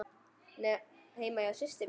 Heima hjá systur minni?